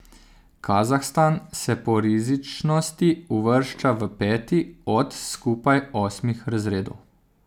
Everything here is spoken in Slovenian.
Kazahstan se po rizičnosti uvršča v peti od skupaj osmih razredov.